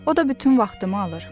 O da bütün vaxtımı alır.